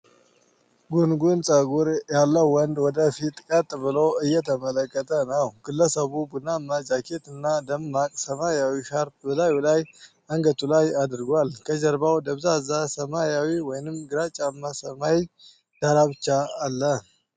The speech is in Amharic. ጉንጉን ፀጉር ያለው ወንድ ወደ ፊት ቀጥ ብሎ እየተመለከተ ነው። ግለሰቡ ቡናማ ጃኬት እና ደማቅ ሰማያዊ ሻርፕ በላዩ ላይ አንገቱ ላይ አድርጓል። ከጀርባው ደብዛዛ ሰማያዊ ወይም ግራጫማ ሰማይ ዳራ ብቻ አለ።